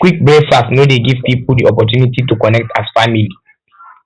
quick breakfast no dey um give pipo di opportunity to connect as um family